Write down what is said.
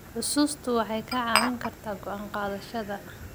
Xusuustu waxay kaa caawin kartaa go'aan qaadashada.